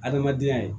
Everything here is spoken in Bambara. Adamadenya ye